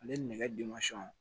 Ale nɛgɛ